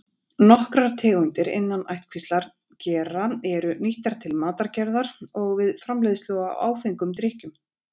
Nokkrar tegundir innan ættkvíslar gera eru nýttar til matargerðar og við framleiðslu á áfengum drykkjum.